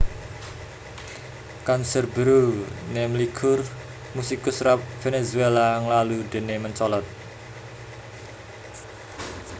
Canserbero nemlikur musikus rap Vènèzuéla nglalu déné mencolot